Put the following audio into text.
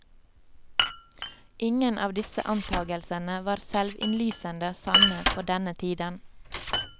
Ingen av disse antagelsene var selvinnlysende sanne på denne tiden.